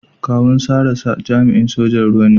Kawun Sarah jami'in sojan ruwa ne.